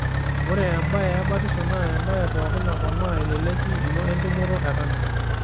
Ore ebae ebatisho naa embae pookin naponaa eleleki ino entumoto e kansa.